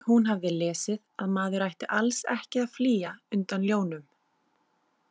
Hún hafði lesið að maður ætti alls ekki að flýja undan ljónum.